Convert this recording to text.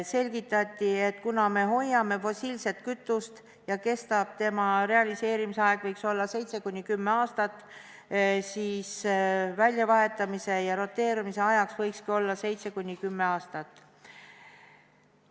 Selgitati, et kuna me hoiame fossiilset kütust ja selle realiseerimisaeg võiks olla 7–10 aastat, siis väljavahetamise ja roteerumise ajaks võikski olla 7–10 aastat.